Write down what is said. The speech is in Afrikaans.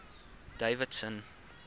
davidson